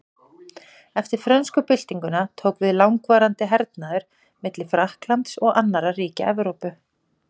Eftir frönsku byltinguna tók við langvarandi hernaður milli Frakklands og annarra ríkja Evrópu.